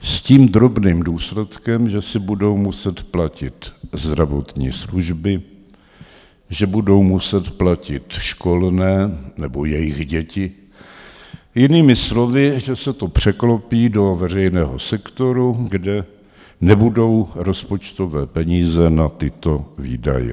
S tím drobným důsledkem, že si budou muset platit zdravotní služby, že budou muset platit školné, nebo jejich děti, jinými slovy, že se to překlopí do veřejného sektoru, kde nebudou rozpočtové peníze na tyto výdaje.